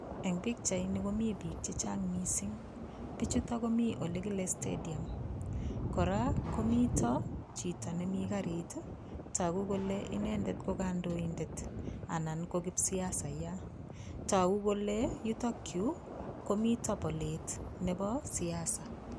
Eng pikchaini komi piik che chang mising, pichuto komi ole kile stadium, kora komito chito nemi garit ii, toku kole inendet ko kandoindet anan ko kipsiasaiya, toku kole yutokyu komito polet nebo siasa.